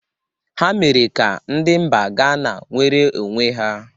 Ha mere ka ndi mba Gana nwere onwe ha.